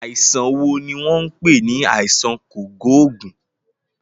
Àìsàn wo ni wọ́n ń pè ní àìsàn kògóògùn?